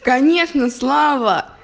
конечно слава